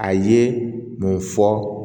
A ye mun fɔ